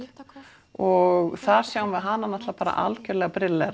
og þar sjáum við hana náttúrulega bara algjörlega brillera